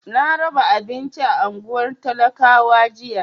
Na raba abinci a unguwar talakawan jiya.